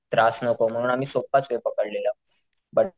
त्रास नको म्हणून आम्ही सोप्पाच वे पकडलेला ब,